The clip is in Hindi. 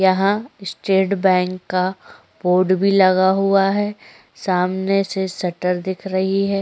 यहाँ स्टेट बैंक का बोर्ड भी लगा हुआ है सामने से शटर दिख रही है।